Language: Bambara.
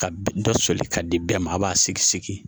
Ka dɔ soli ka di bɛɛ ma a b'a sigi segin